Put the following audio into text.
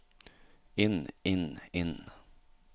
inn inn inn